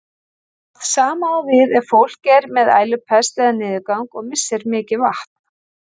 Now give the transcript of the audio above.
Það sama á við ef fólk er með ælupest eða niðurgang og missir mikið vatn.